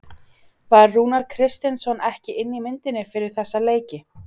Var Rúnar Kristinsson ekki inni í myndinni fyrir þessa leiki?